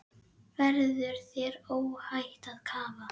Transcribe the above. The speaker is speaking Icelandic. Verður þér óhætt að kafa?